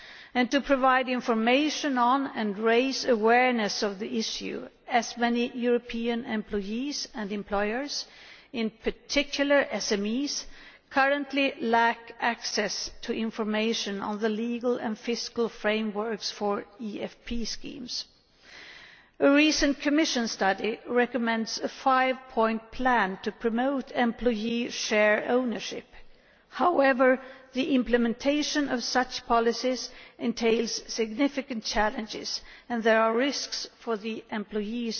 and to provide information on, and raise awareness of, the issue, as many European employees and employers, in particular SMEs, currently lack access to information on the legal and fiscal frameworks for EFP schemes. A recent Commission study recommends a five point plan to promote employee share ownership. However, the implementation of such policies entails significant challenges, and there are risks for the employees